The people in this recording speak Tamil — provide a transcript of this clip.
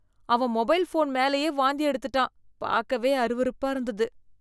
அவன் மொபைல் ஃபோன் மேலயே வாந்தி எடுத்துட்டான். பார்க்கவே அருவருப்பா இருந்தது.